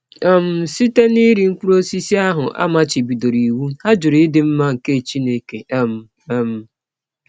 um Site n’iri mkpụrụ ọsisi ahụ a machibidọrọ iwụ, ha jụrụ ịdị mma nke Chineke um. um